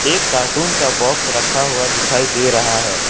एक कार्टून का बॉक्स रखा हुआ दिखाई दे रहा है।